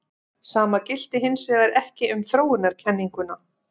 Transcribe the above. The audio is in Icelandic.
Sama gilti hins vegar ekki um þróunarkenninguna.